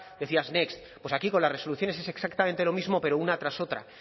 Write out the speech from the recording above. decías next pues aquí con las resoluciones es exactamente lo mismo pero una tras otra